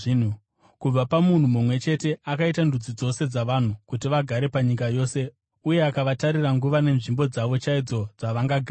Kubva pamunhu mumwe chete akaita ndudzi dzose dzavanhu, kuti vagare panyika yose; uye akavatarira nguva nenzvimbo dzavo chaidzo dzavangagara.